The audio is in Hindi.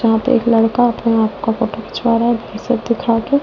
यहां पे एक लड़का अपने आप का फोटो खींचवा रहा है बिसेप दिखा के --